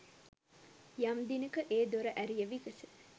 යම් දිනෙක ඒ දොර ඇරිය විගස